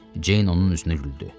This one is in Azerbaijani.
Ceyn onun üzünə güldü.